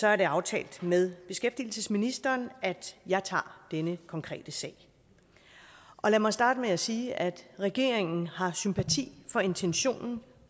er det aftalt med beskæftigelsesministeren at jeg tager denne konkrete sag lad mig starte med at sige at regeringen har sympati for intentionen